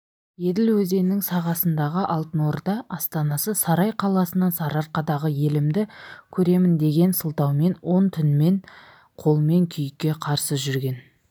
еділ өзенінің сағасындағы алтын орда астанасы сарай қаласынан сарыарқадағы елімді көреміндеген сылтаумен он түмен қолмен күйікке қарсы жүрген